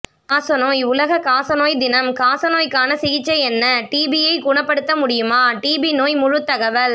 காசநோய் உலக காசநோய் தினம்காசநோய்க்கான சிகிச்சை என்னடிபியை குணப்படுத்த முடியுமாடிபி நோய் முழுத் தகவல்